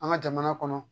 An ka jamana kɔnɔ